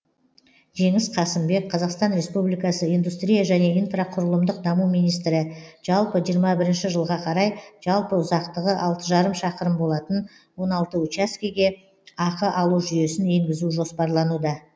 жеңіс қасымбек қазақстан республикасы индустрия және инфрақұрылымдық даму министрі жалпы жиырма бірінші жылға қарай жалпы ұзақтығы алты жарым шақырым болатын он алты учаскеге ақы алу жүйесін енгізу жоспарлануда